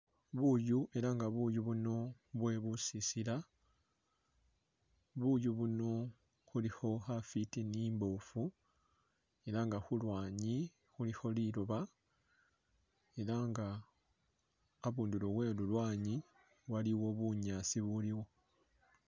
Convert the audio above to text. Buuyu, ela nga buuyu buno bwe busisila, buuyu buno bulikho khafwiti ne imbofu ela nga khulwanyi khulikho liloba ela nga abundulo we lulwanyi waliwo bunyaasi ubuliwo.